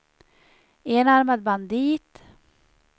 enarmad bandit